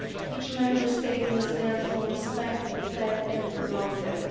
Each Member State must therefore respect, protect and promote them.